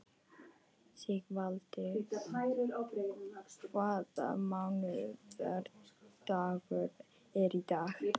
Sigvaldi, hvaða mánaðardagur er í dag?